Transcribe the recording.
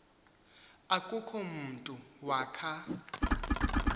akukho mntu wakha